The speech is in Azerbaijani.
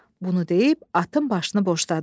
Bunu deyib atın başını boşladı.